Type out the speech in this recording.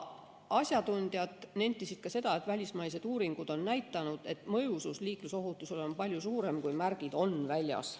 Asjatundjad nentisid ka seda, et välismaised uuringud on näidanud, et mõjusus liiklusohutusele on palju suurem, kui märgid on väljas.